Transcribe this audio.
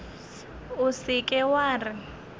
o se ke wa re